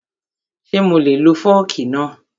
Ṣé mo lè lo fọ́ọ̀kì náà?